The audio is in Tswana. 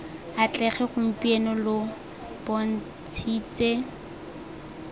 atlege gompieno lo bont shitse